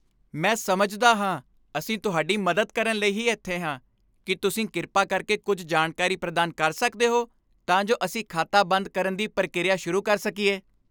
ਮੈਂ ਸਮਝਦਾ ਹਾਂ। ਅਸੀਂ ਤੁਹਾਡੀ ਮਦਦ ਕਰਨ ਲਈ ਹੀ ਇੱਥੇ ਹਾਂ। ਕੀ ਤੁਸੀਂ ਕਿਰਪਾ ਕਰਕੇ ਕੁੱਝ ਜਾਣਕਾਰੀ ਪ੍ਰਦਾਨ ਕਰ ਸਕਦੇ ਹੋ ਤਾਂ ਜੋ ਅਸੀਂ ਖਾਤਾ ਬੰਦ ਕਰਨ ਦੀ ਪ੍ਰਕਿਰਿਆ ਸ਼ੁਰੂ ਕਰ ਸਕੀਏ।